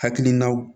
Hakilinaw